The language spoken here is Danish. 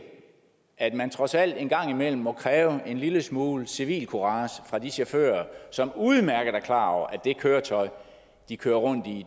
at man trods alt en gang imellem må kræve en lille smule civilcourage fra de chauffører som udmærket er klar over at det køretøj de kører rundt i